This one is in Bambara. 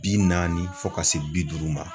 Bi naani fo ka se bi duuru ma.